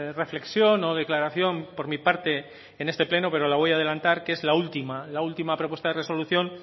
reflexión o declaración por mi parte en este pleno pero la voy a adelantar que es la última la última propuesta de resolución